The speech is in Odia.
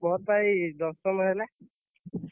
ମୋର ବା ଏଇ ଦଶମ ହେଲା।